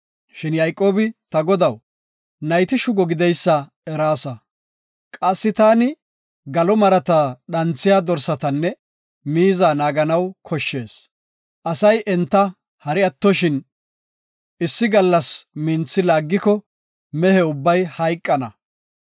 Shin Yayqoobi, “Ta godaw, nayti shugo gideysa eraasa. Qassi taani galo marata dhanthiya dorsatanne miiza naaganaw koshshees. Asay enta hari attoshin, issi gallas minthi laagiko, mehe ubbay hayqana.